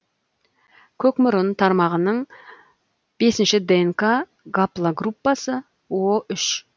көкмұрын тармағының бесінші днк гаплогруппасы о үш